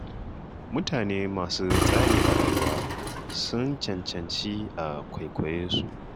Mutane masu tsari a rayuwa, sun cancanci a kwaikwaye su.